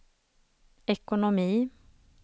ekonomi